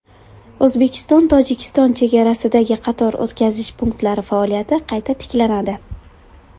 O‘zbekistonTojikiston chegarasidagi qator o‘tkazish punktlari faoliyati qayta tiklanadi .